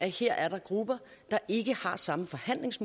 her er grupper der ikke har samme